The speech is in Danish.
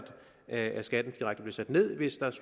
at skatten direkte blev sat ned hvis